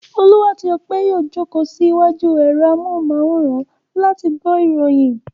Olú àti Ọpẹ́ yóò jókòó sí iwájú ẹ̀rọ amóhùmáwòhán láti gbọ́ orin.